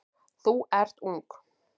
Þú ert ung.